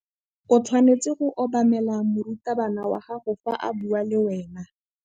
o tshwanetse go obamela morutabana wa gago fa a bua le wena